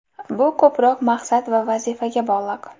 Bu ko‘proq maqsad va vazifaga bog‘liq.